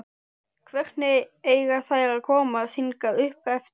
Hvernig eiga þær að komast hingað uppeftir?